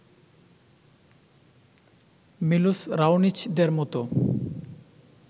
মিলোস রাওনিচদেরমতো